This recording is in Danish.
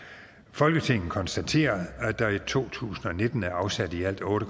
folketinget konstaterer at der i to tusind og nitten er afsat i alt otte